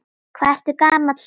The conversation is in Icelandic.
Hvað ertu gamall núna?